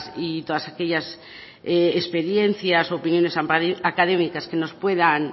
y todas aquellas experiencias opiniones académicas que nos puedan